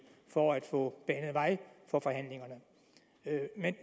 for at få banet vej for forhandlingerne